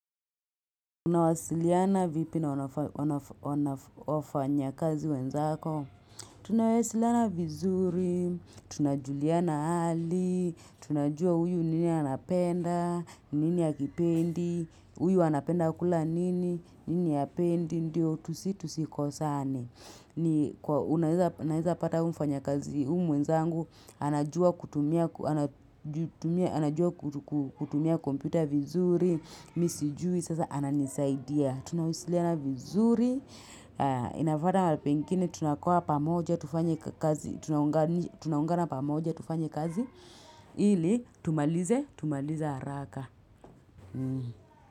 Tunawasiliana vipi na wafanyakazi wenzako? Tunawasiliana vizuri, tunajuliana hali, tunajua uyu nini anapenda, nini akipendi, uyu anapenda kula nini, nini apendi, ndio tusi tusikosani. Ni kwa unaeza naeza pata huyu mfanya kazi u mwezangu anajua kutumia anajua ku ku kutumia kompyuta vizuri, mi sijui, sasa ananisaidia. Tunawasiliana vizuri, inafwata pengine tunakua pamoja, tufanye kazi ili tumalize, tumalize haraka.